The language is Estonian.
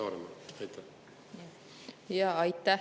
Aitäh!